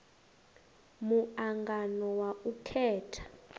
mu angano wa u khetha